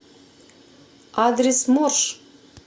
адрес морж